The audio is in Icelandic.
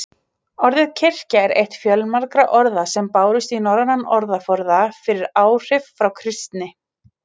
Orðið kirkja er eitt fjölmargra orða sem bárust í norrænan orðaforða fyrir áhrif frá kristni.